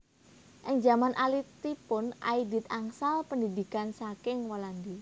Ing jaman alitipun Aidit angsal pendhidhikan saking Walandi